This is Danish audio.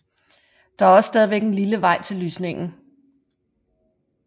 Der er også stadigvæk en lille vej ned til lysningen